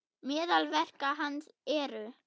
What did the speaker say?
Meðal verka hans eru